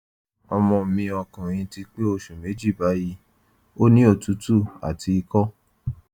ọmọ mi ọkùnrin ti pé oṣù méjì báyìí ó ní òtútù àti ikọ́